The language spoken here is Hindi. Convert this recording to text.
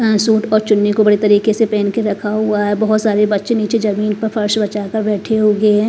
अ सुट और चुन्नी को बड़ी तरीके से पेहन के रखा हुआ है बहोत सारे बच्चे नीचे जमीन पर फर्श बचा कर बैठे हुए है।